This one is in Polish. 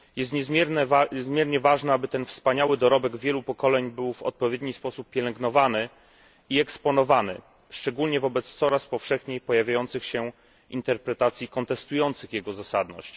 Niezmiernie ważne jest, aby ten wspaniały dorobek wielu pokoleń był w odpowiedni sposób pielęgnowany i eksponowany, szczególnie wobec coraz powszechniej pojawiających się interpretacji kontestujących jego zasadność.